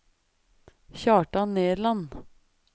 Kjartan Nerland